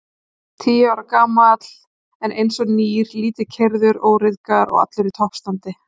Tíu ára gamall, en einsog nýr, lítið keyrður, óryðgaður, allur í toppstandi.